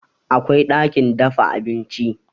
Akwai ɗakin dafa abinci